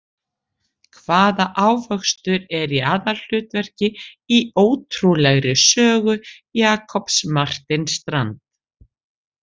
Hvaða ávöxtur er í aðalhlutverki í ótrúlegri sögu Jakobs Martin Strand?